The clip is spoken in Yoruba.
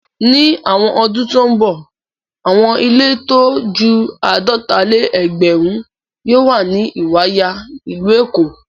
Ní àwọn ọdún tó ń bọ̀, àwọn ilé tó ju àádọ́ta-lé-ẹgbẹ̀rún yóò wà ní Ìwàyà, ìlú Èkó.